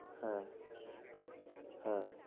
হ্যাঁ হ্যাঁ